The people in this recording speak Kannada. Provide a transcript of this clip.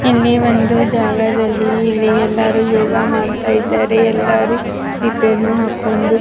ಇಲ್ಲಿ ಮುಂದ್ಗಡೆ ಎಲ್ಲ ಮಹಡಿಗಳು ಇದೆ. ನೆಲ ಗಿಡಗಳುನೂ ಇದೆ.